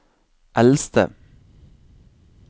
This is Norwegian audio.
eldste